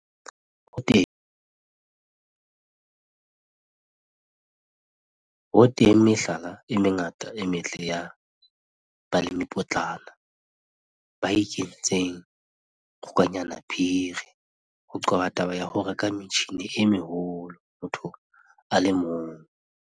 Ho teng mehlala e mengata e metle ya balemipotlana ba ikentseng kgokanyanaphiri ho qoba taba ya ho reka metjhine e meholo motho a le mong.